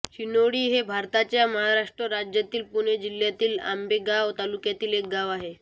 शिणोळी हे भारताच्या महाराष्ट्र राज्यातील पुणे जिल्ह्यातील आंबेगाव तालुक्यातील एक गाव आहे